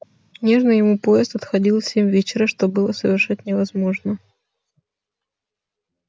нужный ему поезд отходил в семь вечера что было совершенно невозможно